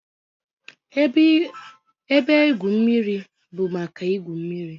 Ebe igwu mmiri bụ maka igwu mmiri